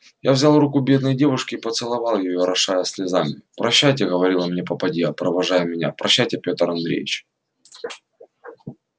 я взял руку бедной девушки и поцеловал её орошая слезами прощайте говорила мне попадья провожая меня прощайте петр андреевч